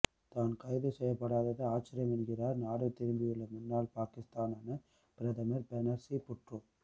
தான் கைது செய்யப்படாதது ஆச்சரியம் என்கிறார் நாடு திரும்பியுள்ள முன்னாள் பாக்கிஸ்தான பிரதமர் பெனஸீர் புட்டோ